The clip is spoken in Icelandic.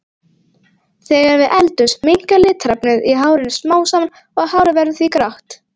Þegar við eldumst minnkar litarefnið í hárinu smám saman og hárið verður því grátt.